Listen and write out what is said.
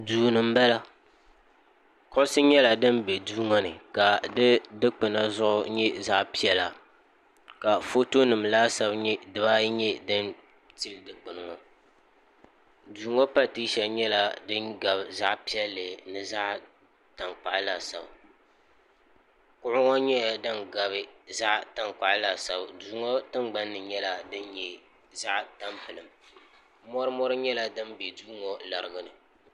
duu ni n bala kuɣusi nyɛla din bɛ duu ŋo ka di dikpuna zuɣu nyɛ zaɣ piɛla ka foto nim dibaayi laasabu nyɛ din tili dikpuni ŋo duu ŋo patɛsa nyɛla din gabi zaɣ piɛlli ni zaɣ tankpaɣu laasabu kuɣu ŋo nyɛla din gabi zaɣ tankpaɣu laasabu duu ŋo tingbani nyɛla din nyɛ zaɣ tampilim mori mori nyɛla din bɛ duu ŋo larugini